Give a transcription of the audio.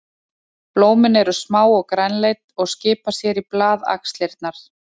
Blómin eru smá og grænleit og skipa sér í blaðaxlirnar.